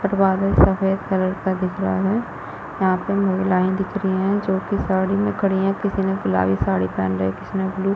but बादल सफ़ेद colour का दिख रहा है यहां पर महिलयां दिख रही है जो की साड़ी में खड़ी है किसी ने गुलाबी पहन रा किसी ने ब्लू